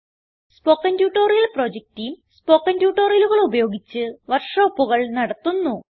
spoken tutorial project team spoken ട്യൂട്ടോറിയലുകൾ ഉപയോഗിച്ച് വർക്ക് ഷോപ്പുകൾ നടത്തുന്നു